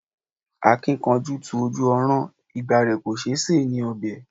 A kì í kánjú tu Olú ọrán, igba rẹ kò tó ṣe ni ọbẹ̀